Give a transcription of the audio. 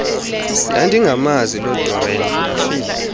ndandingamazi lodoreen ndafika